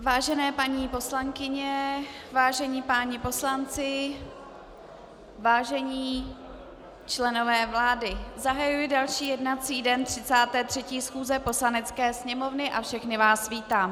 Vážené paní poslankyně, vážení páni poslanci, vážení členové vlády, zahajuji další jednací den 33. schůze Poslanecké sněmovny a všechny vás vítám.